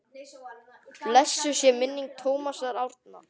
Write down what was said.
Blessuð sé minning Tómasar Árna.